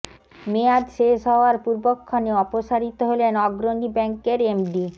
মেয়াদ শেষ হওয়ার পূর্বক্ষণে অপসারিত হলেন অগ্রণী ব্যাংকের এমডি